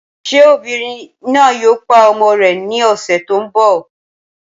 Ṣé obìnrin náà yòò pá ọmọ rè ní ọṣẹ̀ tí n bọ?